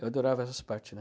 Eu adorava essas parte, né?